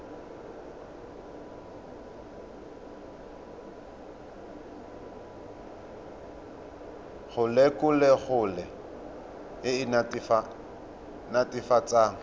go lelokolegolo e e netefatsang